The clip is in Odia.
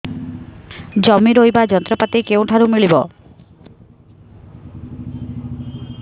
ଜମି ରୋଇବା ଯନ୍ତ୍ରପାତି କେଉଁଠାରୁ ମିଳିବ